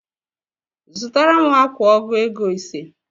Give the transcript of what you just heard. Zụtara m akwa ọgụ ego ise